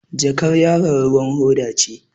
Jakar yaron ruwan hoda ce.